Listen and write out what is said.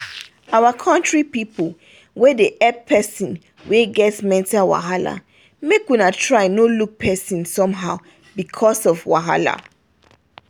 our country pipu wey dey hep person wey get mental wahala make una try no look persin somehow becos of wahala